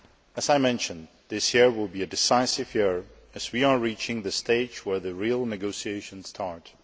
As I mentioned, this year will be a decisive year as we are reaching the stage where the real negotiations start.